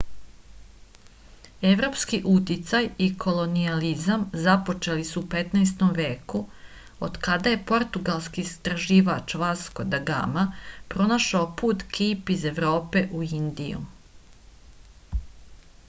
evropski uticaj i kolonijalizam započeli su u 15. veku od kada je portugalski istraživač vasko da gama pronašao put kejp iz evrope u indiju